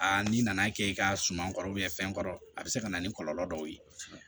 n'i nana kɛ i ka suman kɔrɔ fɛn kɔrɔ a bɛ se ka na ni kɔlɔlɔ dɔw ye